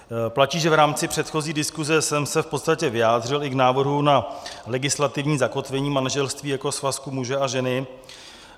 Platí, že v rámci předchozí diskuse jsem se v podstatě vyjádřil i k návrhu na legislativní zakotvení manželství jako svazku muže a ženy.